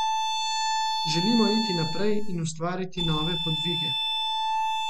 Želimo iti naprej in ustvariti nove podvige.